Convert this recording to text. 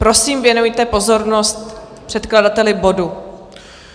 Prosím, věnujte pozornost předkladateli bodu.